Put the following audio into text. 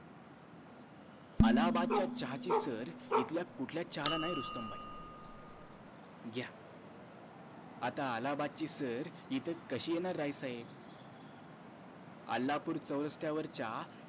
अलाहाबाद च्या चहा ची सर इथल्या कुठल्या चहा ला नाही रुस्तम भाई घ्या आता अलाहाबाद ची सर इथं कशी येणार राय साहेब अलाहापूर च्या